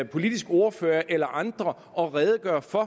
politiske ordfører eller andre og redegøre for